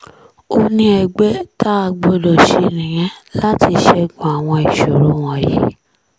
ó ní ẹgbẹ́ tá a gbọ́dọ̀ ṣe nìyẹn láti ṣẹ́gun àwọn ìṣòro wọ̀nyí